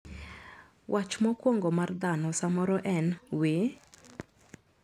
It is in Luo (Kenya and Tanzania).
Wach mokwongo mar dhano samoro en "wee".